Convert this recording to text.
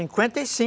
cinquenta e cin